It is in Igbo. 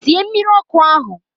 Sie mmiri ọkụ ahụ!